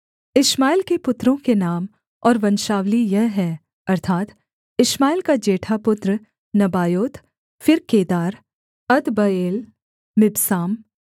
इश्माएल के पुत्रों के नाम और वंशावली यह है अर्थात् इश्माएल का जेठा पुत्र नबायोत फिर केदार अदबएल मिबसाम